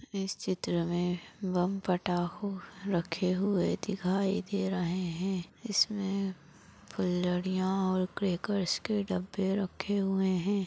इस चित्र मे बम फटाको रखे हुए दिखाई दे रहे है इसमे फूलझड़ीया और क्रेकर्स के डब्बे रखे हुए है।